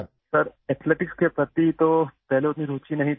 سر، پہلے ایتھلیٹکس میں زیادہ دلچسپی نہیں تھی